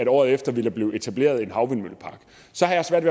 året efter ville blive etableret en havvindmøllepark så har jeg svært